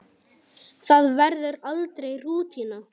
Það verður aldrei rútína.